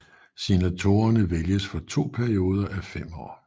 Senatorerne vælges for to perioder af fem år